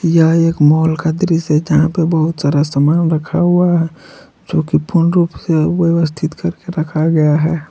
यह एक माल का दृश्य है जहां पे बहुत सारा सामान रखा हुआ है जो की पूर्ण रूप से व्यवस्थित करके रखा गया है।